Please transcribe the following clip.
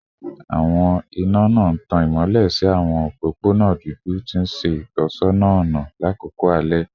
Awọn ina ina n tan imọlẹ si awọn opopona dudu, ti n ṣe itọsọna ọna lakoko alẹ